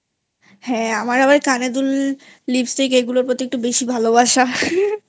হ্যাঁ আমার আবার কানের দুল Lipstick এগুলোর প্রতি আবার বেশি ভালোবাসাI